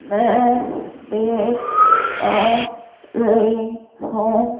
मैं देख पा रही हूं।